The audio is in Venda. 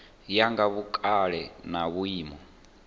ya nga vhukale na vhuimo